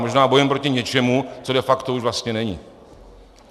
Možná bojujeme proti něčemu, co de facto už vlastně není.